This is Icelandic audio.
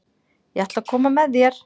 Ég ætla að koma með þér!